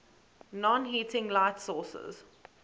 non heating light sources